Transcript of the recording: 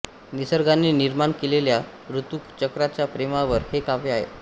निसर्गाने निर्माण केलेल्या ऋतुचक्राच्या प्रेमावर हे काव्य आहे